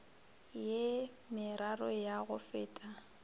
ye meraro ya go feta